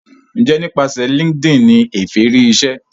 njé nípasẹ linkedin ní Efe rí ìṣe?